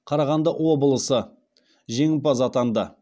қарағанды облысы жеңімпаз атанды